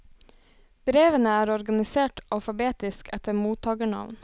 Brevene er organisert alfabetisk etter mottagernavn.